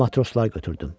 Matroslar götürdüm.